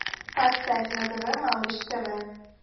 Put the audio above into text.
поставь на тв малыш тв